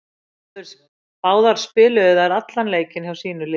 Báðar spiluðu þær allan leikinn hjá sínu liði.